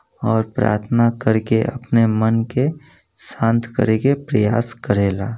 और प्राथना कर के अपने मन के शांत करेके प्रयास करेला |